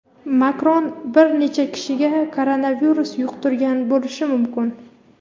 Makron bir necha kishiga koronavirus yuqtirgan bo‘lishi mumkin.